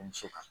Muso